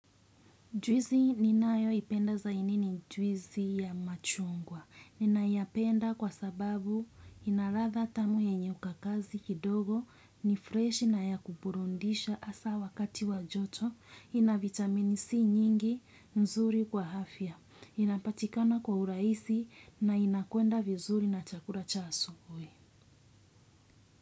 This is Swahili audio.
Juisi ninayo ipenda zaidi ni juizi ya machungwa. Ninayapenda kwa sababu ina latha tamu yenye ukakazi kidogo ni fresh na ya kuburundisha asa wakati wa joto. Ina vitamin C nyingi nzuri kwa afya. Inapatikana kwa urahisi na inakwenda vizuri na chakura cha asubuhi.